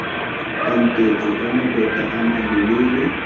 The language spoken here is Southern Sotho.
tantetswe ka mabota a malelele